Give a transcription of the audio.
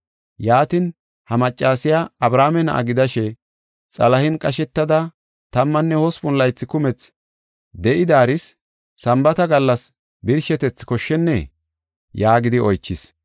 Yaatin, ha maccasiya Abrahaame na7a gidashe xalahen qashetada tammanne hospun laythi kumethi de7idaaris Sambaata gallas birshetethi koshshennee?” yaagidi oychis.